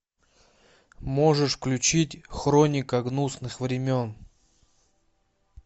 можешь включить хроника гнусных времен